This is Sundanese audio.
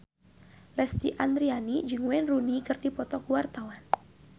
Lesti Andryani jeung Wayne Rooney keur dipoto ku wartawan